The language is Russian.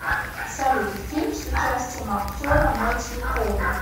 салют фильм с участием актера метью перри